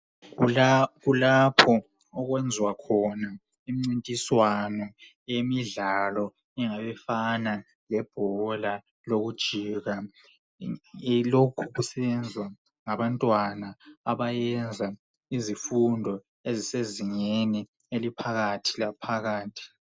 Kulapho okwenziwa khona imincintiswano yemidlalo engabifana lebhola lokujika. Lokhu kusenziwa ngabantwana abayenza izifundo ezisezingeni eliphakathi laphakathi .